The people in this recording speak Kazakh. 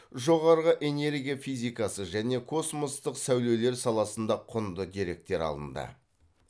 жоғарғы энергия физикасы және космостық сәулелер саласында құнды деректер алынды